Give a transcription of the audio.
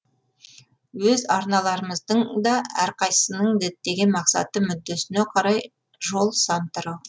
өз арналарымыздың да әрқайсысының діттеген мақсаты мүддесіне қарай жол сан тарау